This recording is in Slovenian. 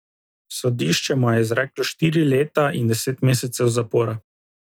Sodišče mu je izreklo štiri leta in deset mesecev zapora.